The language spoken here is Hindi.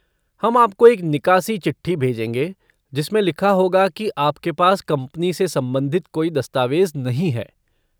हम आपको एक निकासी चिट्ठी भेजेंगे जिसमें लिखा होगा कि आपके पास कंपनी से संबंधित कोई दस्तावेज़ नहीं है।